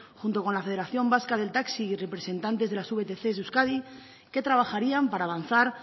junto con la federación vasca del taxi y representantes de las vtc de euskadi que trabajarían para avanzar